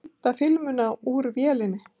Heimta filmuna úr vélinni.